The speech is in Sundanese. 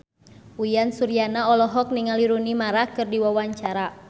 Uyan Suryana olohok ningali Rooney Mara keur diwawancara